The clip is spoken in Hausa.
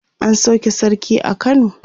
an sauke sarki a kano